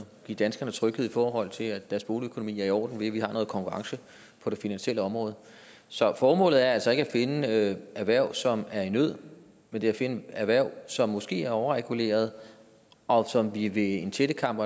give danskerne tryghed i forhold til at deres boligøkonomi er i orden ved at vi har noget konkurrence på det finansielle område så formålet er altså ikke at finde erhverv som er i nød men at finde erhverv som måske er overreguleret og som vi via en tættekam